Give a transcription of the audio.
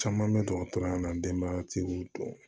Caman bɛ dɔgɔtɔrɔya la denbayatigiw dɔn